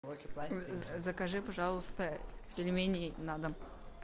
закажи пожалуйста пельмени на дом